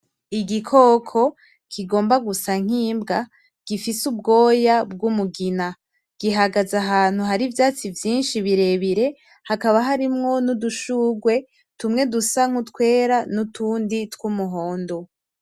Igikoko kigomba gusa nk'imbwa gifise ubwoya bg'umugina, gihagaze ahantu hari ivyatsi vyinshi birebire hakaba harimwo n'udushurwe tumwe dusa nk'utwera n'utundi tw'umuhondo.